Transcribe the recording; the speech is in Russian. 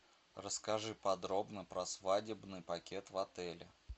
расскажи подробно про свадебный пакет в отеле